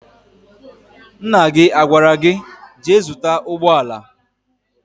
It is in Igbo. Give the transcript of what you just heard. Nna gị agwara gị, jee zụta ụgbọala?